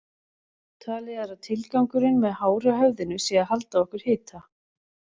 Talið er að tilgangurinn með hári á höfðinu sé að halda á okkur hita.